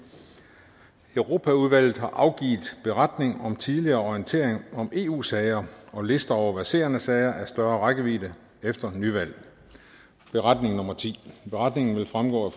europaudvalget har afgivet beretning om tidligere orientering om eu sager og lister over verserende sager af større rækkevidde efter nyvalg beretningen beretningen vil fremgå af